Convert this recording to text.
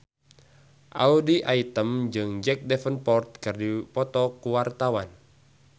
Audy Item jeung Jack Davenport keur dipoto ku wartawan